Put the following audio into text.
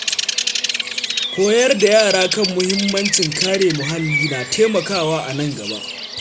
Koyar da yara kan mahimmancin kare muhalli na taimakawa a nan gaba.